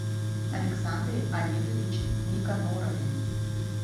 александре олеговиче никонорове